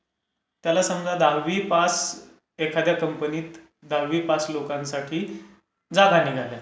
त्याला समजा दहावी पास एखाद्या कंपनीत दहावी पास लोकांसाठी जागा निघाल्यात.